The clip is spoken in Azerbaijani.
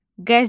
Qəzet.